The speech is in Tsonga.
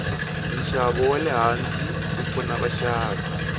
nshavo walehhansi wupfuna vashavi